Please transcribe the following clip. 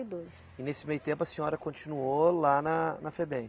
e dois. E nesse meio tempo a senhora continuou lá na na Febem?